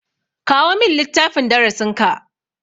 Kawo min littafin darasin ka.